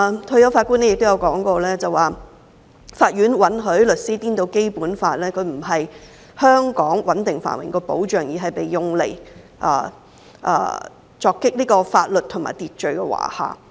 退休法官烈顯倫亦提到："法院允許律師顛倒《基本法》：它不是香港穩定繁榮的保障，而是被用來鑿毀法律和秩序的華廈。